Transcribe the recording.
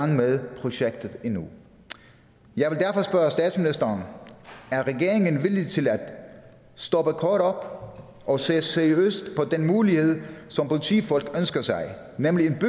med projektet endnu jeg vil derfor spørge statsministeren er regeringen villig til at stoppe kort op og se seriøst på den mulighed som politifolk ønsker nemlig en